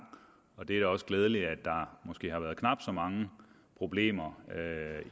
og det er da også glædeligt at der måske har været knap så mange problemer